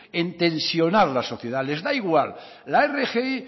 en tensionar la sociedad les da igual la rgi